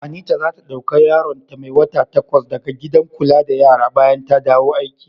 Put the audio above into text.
Anita za ta dauka yaron ta mai wata takwas da ga gidan kula da yara bayan ta dawo aiki.